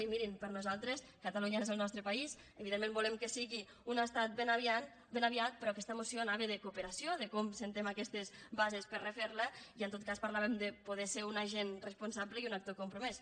i mirin per nosaltres catalunya és el nostre país evidentment volem que sigui un estat ben aviat però aquesta moció anava de cooperació de com establim aquestes bases per refer la i en tot cas parlàvem de poder ser un agent responsable i un actor compromès